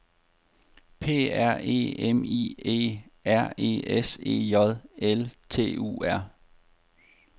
P R E M I E R E S E J L T U R